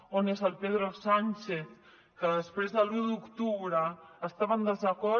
on és el pedro sánchez que després de l’u d’octubre estava en desacord